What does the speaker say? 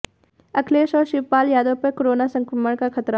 अखिलेश और शिवपाल यादव पर कोरोना संक्रमण का खतरा